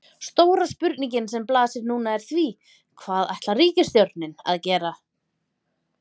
Stóra spurningin sem blasir núna er því, hvað ætlar ríkisstjórnin að gera?